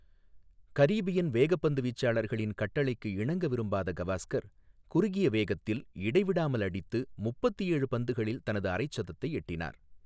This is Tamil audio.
கரீபியன் வேகப்பந்து வீச்சாளர்களின் கட்டளைக்கு இணங்க விரும்பாத கவாஸ்கர், குறுகிய வேகத்தில் இடைவிடாமல் அடித்து, முப்பத்து ஏழு பந்துகளில் தனது அரை சதத்தை எட்டினார்.